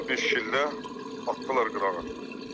Anama bir şillə, atdılar qırağa.